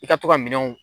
I ka to ka minɛnw